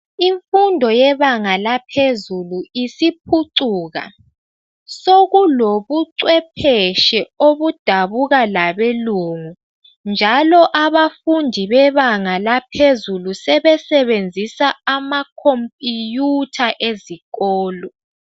Imfundo yebanga laphezulu isiphucuka . Sokulobuchwephetshe obudabuka labelungu njalo abafundi bebanga laphezulu sebesebenzisa amakhompiyutha ezikolo.